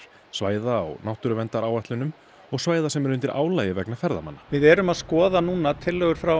svæða á náttúruverndaráætlunum og svæða sem eru undir álagi vegna ferðamanna við erum að skoða núna tillögur frá